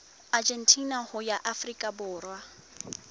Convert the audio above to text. argentina ho ya afrika borwa